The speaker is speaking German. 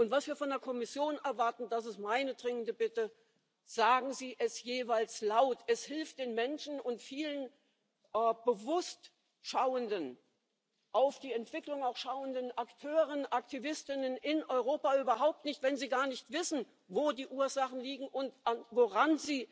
Und was wir von der Kommission erwarten, das ist meine dringende Bitte Sagen Sie es jeweils laut. Es hilft den Menschen und vielen bewusst schauenden, auch auf die Entwicklung schauenden Akteuren, Aktivistinnen in Europa überhaupt nicht, wenn sie gar nicht wissen, wo die Ursachen liegen und an